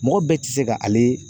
Mɔgɔ bɛɛ tɛ se ka ale